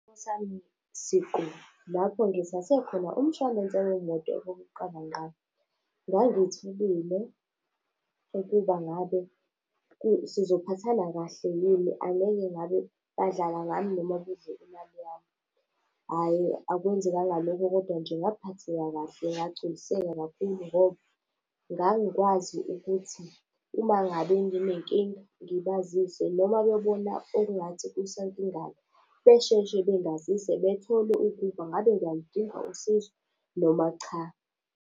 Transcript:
Esami siqu lapho ngithathe khona umshwalense wemoto wokuqala ngqa, ngangithukile ukuba ngabe, sizophatha kahle yini angeke ngabe badlala ngani noma kudliwe imali yami. Hhayi akwenzekanga lokho, kodwa nje ngaphatheka kahle ngagculiseka kakhulu ngoba, ngangikwazi ukuthi umangabe nginenkinga ngibazise noma bebona okungathi kusankingana, besheshe bengazise bethole ukuba ngabe ngiyaludinga usizo noma cha.